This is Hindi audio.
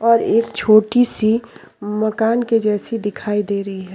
और एक छोटी सी मकान के जैसी दिखाई दे रही है।